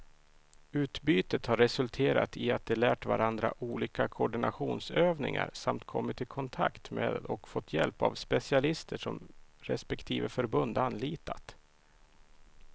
Utbytet har resulterat i att de lärt varandra olika koordinationsövningar samt kommit i kontakt med och fått hjälp av specialister som respektive förbund anlitat.